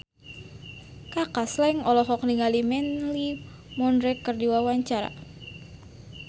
Kaka Slank olohok ningali Mandy Moore keur diwawancara